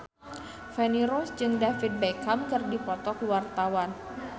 Feni Rose jeung David Beckham keur dipoto ku wartawan